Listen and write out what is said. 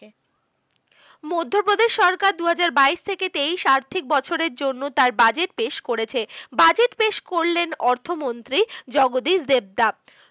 মধ্যপ্রদেশ সরকার দু হাজার বাইশ থেকে তেইশ আর্থিক বছরের জন্য তার budget পেশ করেছে। budget পেশ করলেন অর্থমন্ত্রী জগদীশ দেবদাপ।